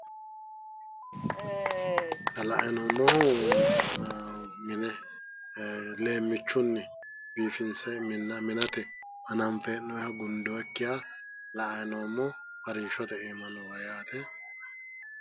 Xa la"ayi noommohu mime leemmichunni biifinse minate hee'noyiha gundoyikkiha la"ayi noommo harinshote iima nooha yaate.